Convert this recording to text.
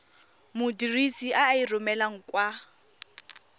modirisi a e romelang kwa